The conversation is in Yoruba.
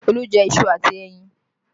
Olu jẹ iṣu àti ẹyin